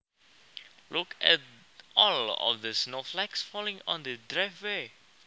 Look at all of the snowflakes falling on the driveway